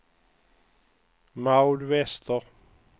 Maud Wester